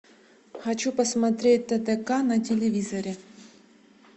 хочу посмотреть тдк на телевизоре